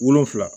Wolonvila